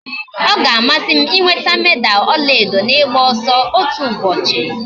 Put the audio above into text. Ọ ga-amasị m ịnweta meda ọla edo n'ịgba ọsọ otu ụbọchị